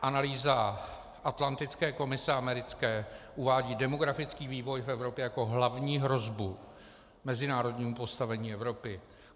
Analýza atlantické komise americké uvádí demografický vývoj v Evropě jako hlavní hrozbu mezinárodnímu postavení Evropy.